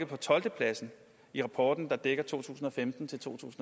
på tolvtepladsen i rapporten der dækker to tusind og femten til